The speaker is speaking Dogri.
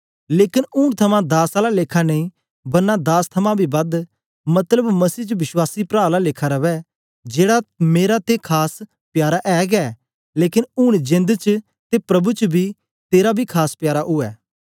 लेकन ऊन थमां दास आला लेखा नेई बरना दास थमां बी बद मतलब मसीह च विश्वासी प्रा आला लेखा रवै जेड़ा मेरा ते खास प्यारा ऐ गै लेकन ऊन जेंद च ते प्रभु च बी तेरा बी खास प्यारा उवै